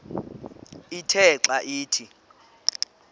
ithe xa ithi